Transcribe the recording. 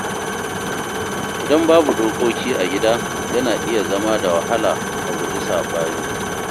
Idan babu dokoki a gida, yana iya zama da wahala a guji sabani.